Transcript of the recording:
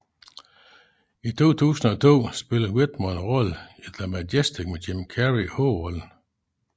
I 2002 spillede Whitmore en rolle i The Majestic med Jim Carrey i hovedrollen